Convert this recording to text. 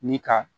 Ni ka